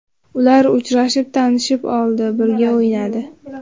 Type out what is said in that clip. Ular uchrashib, tanishib oldi, birga o‘ynadi.